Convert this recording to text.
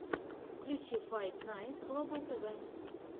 включи файт найтс глобал тв